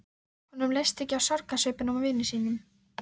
Honum leist ekki á sorgarsvipinn á vini sínum.